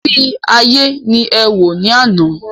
Ìrírí ayé ni ẹ wò ní àná.